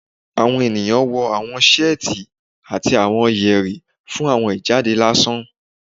Awọn eniyan wọ awọn seeti ati awọn yeri fun awọn ijade lasan